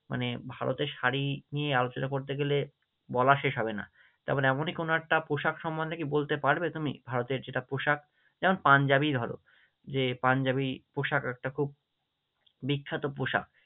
মানে ভারতের শাড়ি নিয়ে আলোচনা করতে গেলে বলা শেষ হবে না, যেমন এমনই কোনো একটা পোশাক সম্মন্ধে কি বলতে পারবে তুমি? ভারতের যেটা পোশাক, যেমন পাঞ্জাবি ধরো যে পাঞ্জাবি পোশাক একটা খুব বিখ্যাত পোশাক।